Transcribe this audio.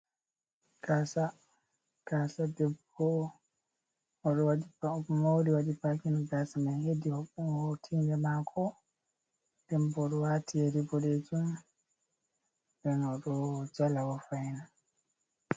kasa, Kasa debbo odo wadi pau mori wadi pakin gasa man hedi hor tide mako dembo odo wati yeri bodejum den odojala bo fain.